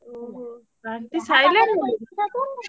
ଓହୋ!